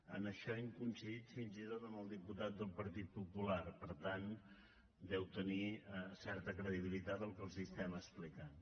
en això hem coincidit fins i tot amb el diputat del partit popular per tant deu tenir certa credibilitat el que els estem explicant